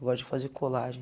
Eu gosto de fazer colagem.